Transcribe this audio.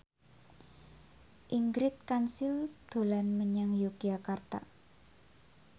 Ingrid Kansil dolan menyang Yogyakarta